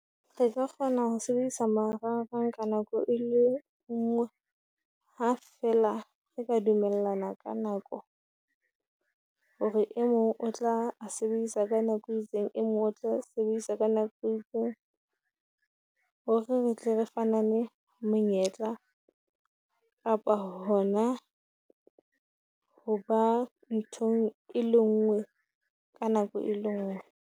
Re ka kgona ho sebedisa marangrang ka nako e le ngwe, ha feela re ka dumellana ka nako hore e mong o tla a sebedisa ka nako e itseng, e mong o tla sebedisa ka nako e itseng. Ho re tle re fanane monyetla kapa ho na ho ba nthong e le ngwe ka nako e le ngwe.